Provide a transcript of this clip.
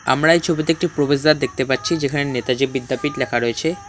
আমরা এই ছবিতে একটি প্রবেশদ্বার দেখতে পাচ্ছি যেখানে নেতাজি বিদ্যাপীঠ লেখা রয়েছে।